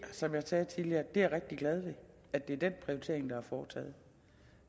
som jeg sagde tidligere er jeg rigtig glad ved at det er den prioritering der er foretaget